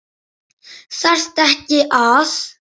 Þarftu ekki að.?